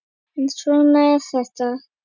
En svona er þetta!